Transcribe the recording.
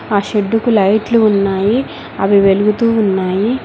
ఆ షెడ్డుకు లైట్లు ఉన్నాయి అవి వెలుగుతూ ఉన్నాయి.